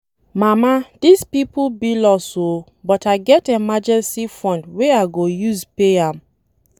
Mama dis people bill us oo but I get emergency fund wey I go use pay am.